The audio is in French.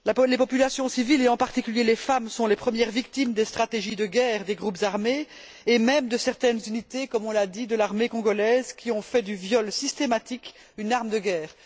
Les populations civiles, et en particulier les femmes, sont les premières victimes des stratégies de guerre des groupes armés et même de certaines unités, comme on l'a dit, de l'armée congolaise, qui ont fait du viol systématique une arme de guerre.